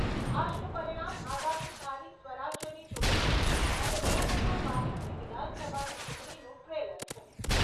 આજનું પરિણામ આગામી સ્થાનિક સ્વરાજ્યની ચૂંટણીઓ અને બે હજાર બાવીસની વિધાનસભાની ચૂંટણીનું ટ્રેલર છે.